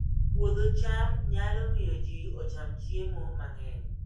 Puodho cham nyalo miyo ji ocham chiemo mang'eny